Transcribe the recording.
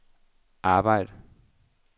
arbejd